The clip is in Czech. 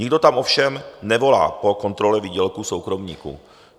Nikdo tam ovšem nevolá po kontrole výdělků soukromníků.